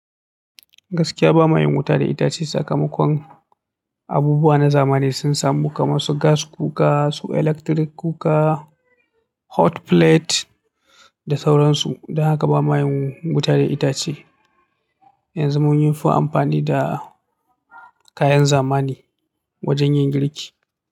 Gaskiya ba mayin wuta da itace sakamakon abubuwa na zamani sun samu kamar su gas cooker, su electric cooker, hot plate da sauransu. Don haka ba mayin wuta da itace. Yanzu mun yi fi amfani da kayan zamani wajen yin girki.